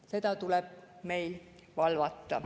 Seda tuleb meil valvata.